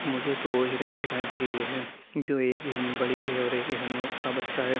मुझे दो हिरण दिखाई दे रही है| जो एक हिरण बड़ी है और एक हिरण का बच्चा है।